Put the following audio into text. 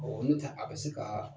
nɔntɛ a bɛ se kaa